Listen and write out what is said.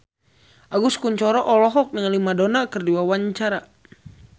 Agus Kuncoro olohok ningali Madonna keur diwawancara